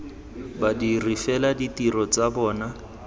badiri fela ditiro tsa bona